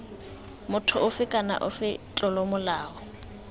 motho ofe kana ofe tlolomolato